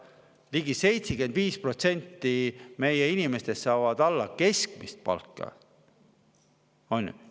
Ligi 75% meie inimestest saavad alla keskmise palka, on ju?